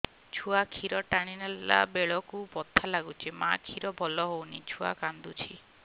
ଛୁଆ ଖିର ଟାଣିଲା ବେଳକୁ ବଥା ଲାଗୁଚି ମା ଖିର ଭଲ ହଉନି ଛୁଆ କାନ୍ଦୁଚି